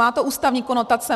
Má to ústavní konotace.